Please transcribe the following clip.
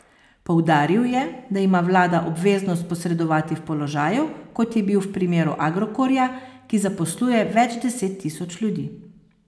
Poudaril je, da ima vlada obveznost posredovati v položaju, kot je bil v primeru Agrokorja, ki zaposluje več deset tisoč ljudi.